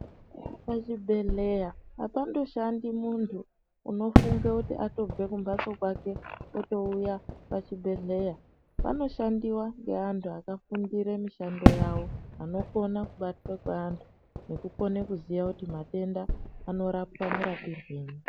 Pachibhedhlera apandoshandi muntu unofungekuti andobve kumhatso kwake otouya pachibhedhela. Panoshandiwa ngeantu akafundira mishando yawo, anokona kubatsira vantu nekukona kuziya kuti matenda anorapa marapirwei.